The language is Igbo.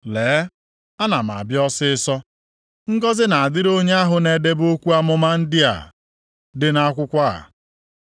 “Lee, ana m abịa ọsịịsọ. Ngọzị na-adịrị onye ahụ na-edebe okwu amụma ndị a dị nʼakwụkwọ a.”